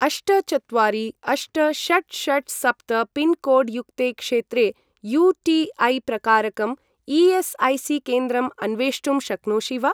अष्ट चत्वारि अष्ट षट् षट् सप्त पिन्कोड् युक्ते क्षेत्रे यू.टी.ऐ.प्रकारकं ई.एस्.ऐ.सी.केन्द्रम् अन्वेष्टुं शक्नोषि वा?